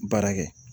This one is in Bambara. Baara kɛ